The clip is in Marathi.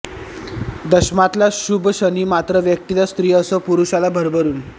दशमातला शुभ शनी मात्र व्यक्तीला स्त्री असो पुरुषाला भरभरून